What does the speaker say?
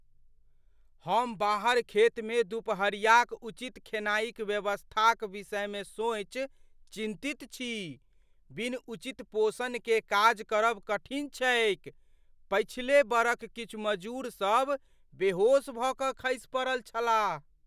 हम बाहर खेतमे दुपहरियाक उचित खेनाइक व्यवस्थाक विषयमे सोचि चिन्तित छी। बिनु उचित पोषणकेँ काज करब कठिन छैक, पछिले बरख किछु मजूर सब बेहोश भऽ कऽ खसि पड़ल छलाह।